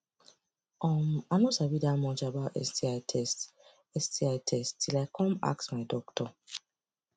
um i no sabi that much about sti test sti test till i come ask my doctor